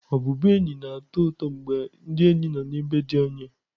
Ọbụbụenyi na-atọ ụtọ mgbe ndị enyi nọ n'ebe dị anya.